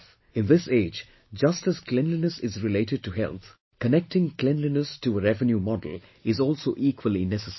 In this age, just as cleanliness is related to health, connecting cleanliness to a revenue model is also equally necessary